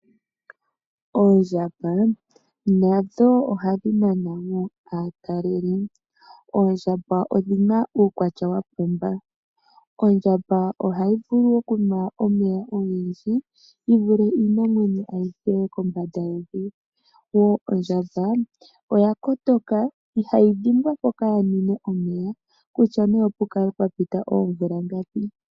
Oondjamba nadho ohadhi nana woo aataleli. Oondjamba odhina uukwatya wapumba. Ondjamba ohayi vulu okunwa omeya ogendji yivule iinamwenyo ayihe kombanda yevi woo ondjamba oyakotoka ihayi dhimbwa mpoka yanwine omeya kutya nee opukale pwapita oomvula ngapi.